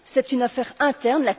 C'est une affaire interne.